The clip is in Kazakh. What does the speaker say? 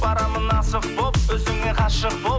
барамын асық болып өзіңе ғашық болып